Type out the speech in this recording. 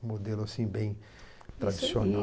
um modelo assim bem tradicional.